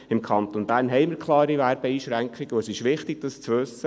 Im Kanton Bern bestehen klare Werbeeinschränkungen, und es ist wichtig, dies zu wissen.